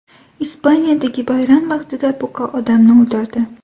Ispaniyadagi bayram vaqtida buqa odamni o‘ldirdi.